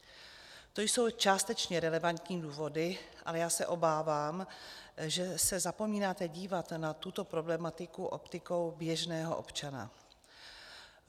To jsou částečně relevantní důvody, ale já se obávám, že se zapomínáte dívat na tuto problematiku optikou běžného občana.